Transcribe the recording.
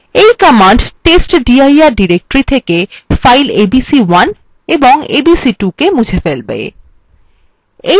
এই command testdir directory থেকে files abc1 এবং abc2 মুছে ফেলবে